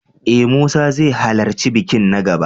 E, Musa zai halarci bikin na gaba.